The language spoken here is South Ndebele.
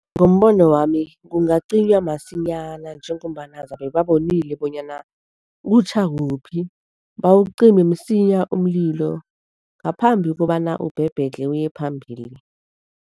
Ngombono wami, kungaqinywa masinyana njengombana zabe babonile bonyana kutjha kuphi, bawucime msinya umlilo ngaphambi kobana ubhebhedlhe uye phambili.